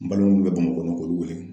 N balima mun bɛ Bamakɔ k'olu wele.